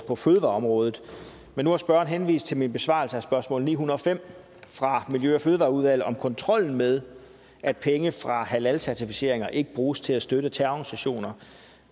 på fødevareområdet men nu har spørgeren henvist til min besvarelse af spørgsmål ni hundrede og fem fra miljø og fødevareudvalget om kontrollen med at penge fra halalcertificeringer ikke bruges til at støtte terrororganisationer